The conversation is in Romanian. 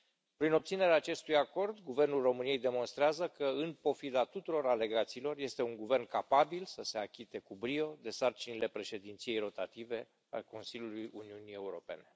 Prin obținerea acestui acord, guvernul României demonstrează că, în pofida tuturor alegațiilor, este un guvern capabil să se achite cu brio de sarcinile președinției rotative a Consiliului Uniunii Europene.